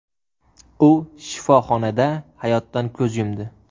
U shifoxonada hayotdan ko‘z yumdi.